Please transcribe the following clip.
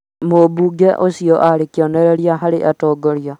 mũbunge ũcio aarĩ kĩonereria harĩ atongoria